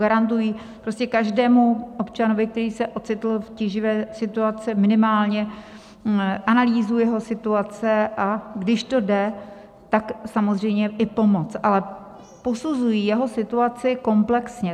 Garantují prostě každému občanovi, který se ocitl v tíživé situaci, minimálně analýzu jeho situace, a když to jde, tak samozřejmě i pomoc, ale posuzují jeho situaci komplexně.